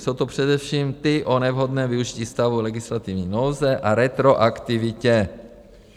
Jsou to především ty o nevhodném využití stavu legislativní nouze a retroaktivitě.